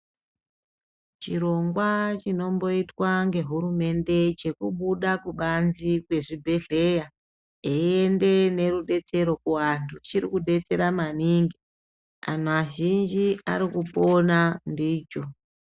Chirongwa chinomboitwa ngehurumende chekubuda kubanze kwezvibhedhleya eiende nerudetsero kuvanthu chiri kudetsera maningi anthu azhinji ari kupona ndicho.